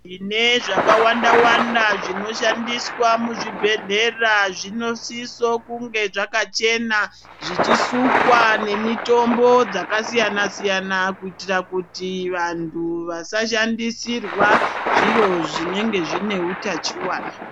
Tine zvakawanda wanda zvinoshandiswa muzvibhedhlera zvinosiso kunge zvakachena zvichusukwa nemitombo dzakasiyana siyana kuitira kuti vanthu vasashandisirwa zviro zvinenge zvine utachiwana.